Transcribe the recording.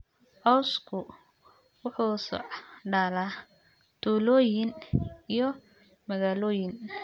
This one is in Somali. Cawsku wuxuu socdaalaa tuulooyin iyo magaalooyin.